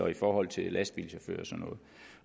i forhold til lastbilchauffører